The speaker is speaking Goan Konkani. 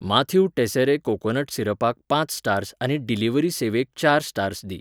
माथ्यू टेसेरे कोकोनट सिरपाक पांच स्टार्स आनी डिलिव्हरी सेवेक चार स्टार्स दी.